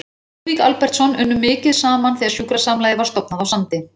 Við Lúðvík Albertsson unnum mikið saman þegar sjúkrasamlagið var stofnað á Sandi.